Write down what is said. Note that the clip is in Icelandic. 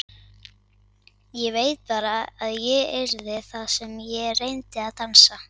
Ég veit bara að ég yrði það ef ég reyndi að dansa.